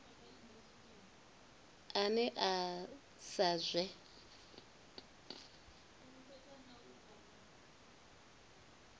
ane a oea sa zwe